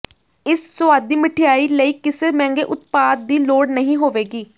ਇਸ ਸੁਆਦੀ ਮਿਠਆਈ ਲਈ ਕਿਸੇ ਮਹਿੰਗੇ ਉਤਪਾਦ ਦੀ ਲੋੜ ਨਹੀਂ ਹੋਵੇਗੀ